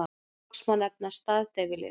Loks má nefna staðdeyfilyf.